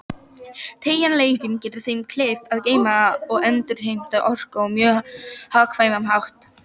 Teygjanleikinn gerir þeim kleift að geyma og endurheimta orku á mjög hagkvæman hátt.